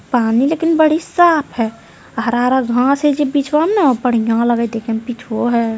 पानी लेकिन बड़ी साफ है हरा हरा घास है जे बीचवा में न हउ बढ़िया लग हइ देखे में पिछवो है।